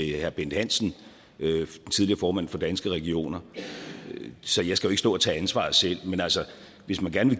herre bent hansen tidligere formand for danske regioner så jeg skal jo ikke stå og tage ansvaret selv men hvis man gerne